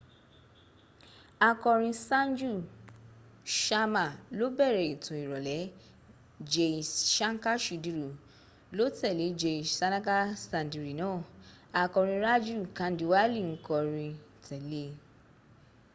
akọrin sanju ṣama ló bẹ̀rẹ̀ etò ìrọ̀lẹ́ jai ṣanka ṣudiri ló tẹ́lẹ̀ jai sanaka sandiri naa akọrin raju kandiwali n kọri tẹ́lẹ̀